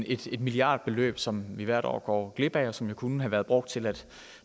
et milliardbeløb som vi hvert år går glip af og som jo kunne have været brugt til at